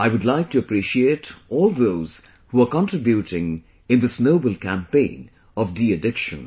I would like to appreciate all those who are contributing in this noble campaign of deaddiction